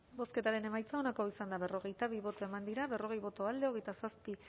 bozketaren emaitza onako izan da berrogeita bi eman dugu bozka berrogei boto alde hogeita zazpi